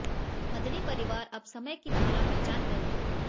मदनी परिवार अब समय की धारा पहचान गए हैं